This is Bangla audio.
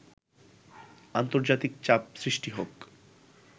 আন্তর্জাতিক চাপ সৃষ্টি হোক